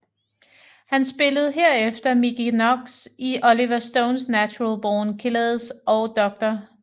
Han spillede herefter Mickey Knox i Oliver Stones Natural Born Killers og Dr